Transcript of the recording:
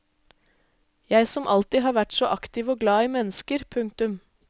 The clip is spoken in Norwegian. Jeg som alltid har vært så aktiv og glad i mennesker. punktum